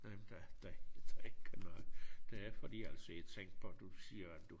Øh der der der ikke noget det er fordi altså jeg tænkte på at du siger at du